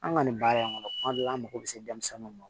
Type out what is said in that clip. An ka nin baara in kɔnɔ kuma dɔw la an mago bɛ se denmisɛnninw ma